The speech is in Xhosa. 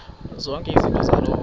zonke izinto zaloo